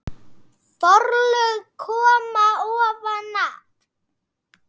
Forlög koma ofan að